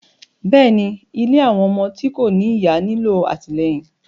Bẹ́ẹ̀ni, ìlé awọn ọmọ ti ko ni iya nilo atilẹyin